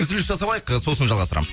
үзіліс жасап алайық ы сосын жалғастырамыз